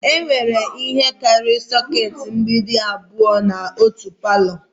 Enwere ihe karịrị sokèti mgbidi abụọ n'otu palọ